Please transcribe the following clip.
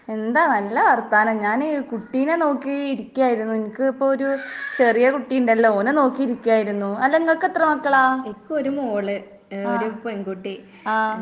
എന്താ നല്ല വർത്താനം ഞാന് കുട്ടീനെ നോക്കി ഇരിക്കായിരുന്നു. എനക്ക് ഇപ്പൊ ഒരു ചെറിയ കുട്ടി ഇണ്ടല്ലോ ഓനെ നോക്കി ഇരിക്കായിരുന്നു. അല്ല ഇങ്ങക്ക് എത്ര മക്കളാ? ആഹ്. ആഹ്.